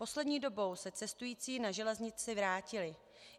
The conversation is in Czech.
Poslední dobou se cestující na železnici vrátili.